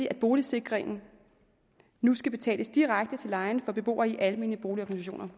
at boligsikringen nu skal betales direkte til lejeren for beboere i almene boligorganisationer